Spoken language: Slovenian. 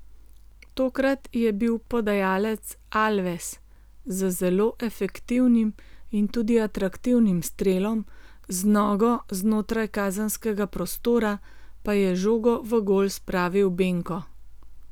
Tokrat je bil podajalec Alves, z zelo efektivnim in tudi atraktivnim strelom z nogo znotraj kazenskega prostora pa je žogo v gol spravil Benko.